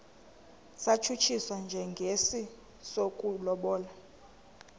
satshutshiswa njengesi sokulobola